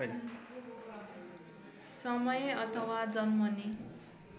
समय अथवा जन्मने